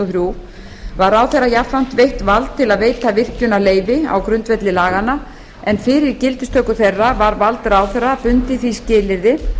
þrjú var ráðherra jafnframt veitt vald til að veita virkjunarleyfi á grundvelli laganna en fyrir gildistöku þeirra var vald ráðherra bundið því skilyrði